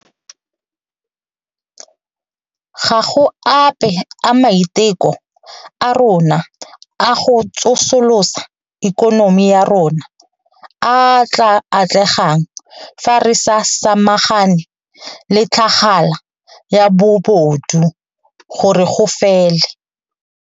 Ga go ape a maiteko a rona a go tsosolosa ikonomi ya rona a a tla atlegang fa re sa samagane le tlhagala ya bobodu gore go fele.